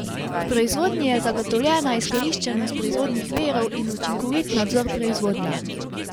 V proizvodnji je zagotovljena izkoriščenost proizvodnih virov in učinkovit nadzor proizvodnje.